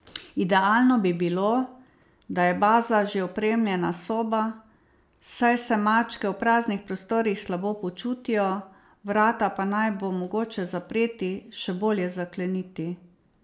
Idealno bi bilo, da je baza že opremljena soba, saj se mačke v praznih prostorih slabo počutijo, vrata pa naj bo mogoče zapreti, še bolje zakleniti.